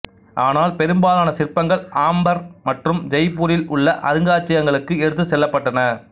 ஆனால் பெரும்பாலான சிற்பங்கள் ஆம்பர் மற்றும் ஜெய்ப்பூரில் உள்ள அருங்காட்சியகங்களுக்கு எடுத்துச் செல்லப்பட்டுள்ளன